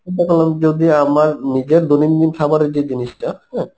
যদি আমার নিজের দৈনন্দিন খাবারের যে জিনিসটা হ্যাঁ